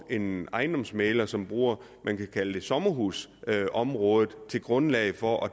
en ejendomsmægler som bruger sommerhusområdet som grundlag for at